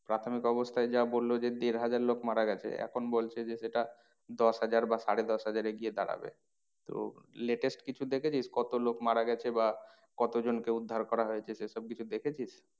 প্রাথমিক অবস্থায় যা বললো যে দেড় হাজার লোক মারা গেছে। এখন বলছে যে সেটা দশ হাজার বা সাড়ে দশ হাজারে গিয়ে দাঁড়াবে। তো latest কিছু দেখেছিস কত লোক মারা গেছে বা কতজনকে উদ্ধার করা হয়েছে সে সব কিছু দেখেছিস?